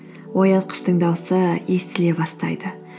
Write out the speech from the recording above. оятқыштың дауысы естіле бастайды